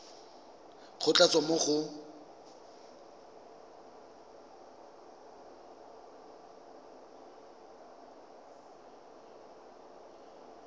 go tla tswa mo go